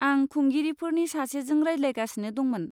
आं खुंगिरिफोरनि सासेजों रायज्लायगासिनो दंमोन।